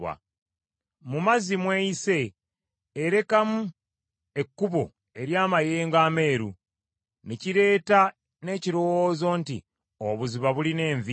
Mu mazzi mw’eyise, erekamu ekkubo ery’amayengo ameeru; ne kireeta n’ekirowoozo nti obuziba bulina envi.